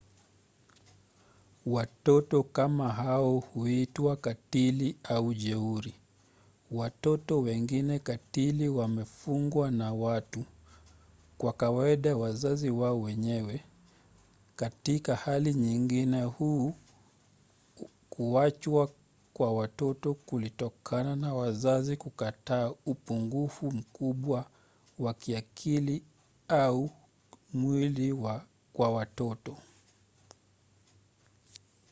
watoto kama hao huitwa katili au jeuri. watoto wengine katili wamefungwa na watu kwa kawaida wazazi wao wenyewe; katika hali nyingine huu kuachwa kwa watoto kulitokana na wazazi kukataa upungufu mkubwa wa kiakili au mwili kwa mtoto